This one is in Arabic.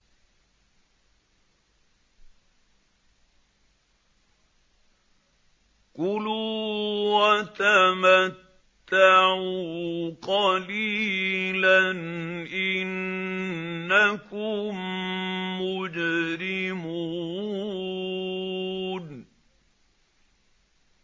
كُلُوا وَتَمَتَّعُوا قَلِيلًا إِنَّكُم مُّجْرِمُونَ